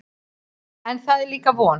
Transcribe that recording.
En það er líka von.